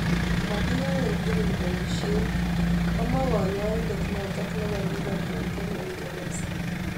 Makiyae tugul paisiet"komwa kanyaindet notok neboo Liverpool eng uingeresa